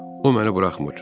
O məni buraxmır.